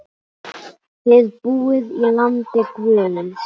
Þið búið í landi guðs.